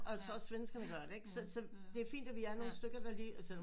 Og altså også svenskerne gør det ikke så så det er fint vi er nogle stykker der lige altså